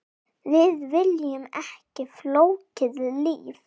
Við viljum ekki flókið líf.